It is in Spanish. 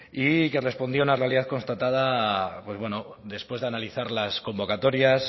y que respondía a una realidad constatada después de analizar las convocatorias